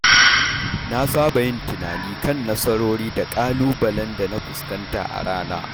Na saba yin tunani kan nasarori da ƙalubalen da na fuskanta a rana.